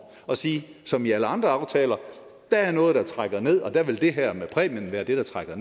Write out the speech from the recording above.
og sige som i alle andre aftaler der er noget der trækker ned og der vil det her med præmien være det der trækker